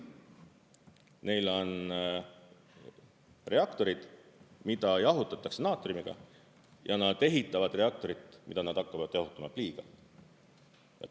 Neil on reaktorid, mida jahutatakse naatriumiga, ja nad ehitavad reaktorit, mida nad hakkavad jahutama pliiga.